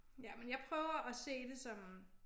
Ja men jeg prøver at se det som